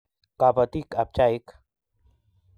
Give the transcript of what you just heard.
Kabatik ab chaik